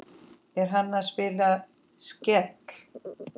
Er hann að spila Skell?